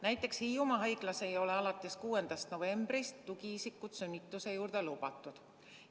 Näiteks Hiiumaa haiglas ei ole alates 6. novembrist tugiisikud sünnituse juurde lubatud.